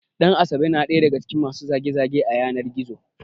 Ɗan asabe ya na ɗaya daga cikin masu zage- zage a yanar Gizo